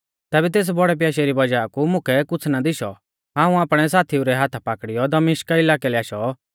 तैबै तेस बौड़ै प्याशै री वज़ाह कु मुकै कुछ़ ना दिशौ हाऊं आपणै साथीऊ रै हाथा पाकड़ीयौ दमिश्का इलाकै लै आशौ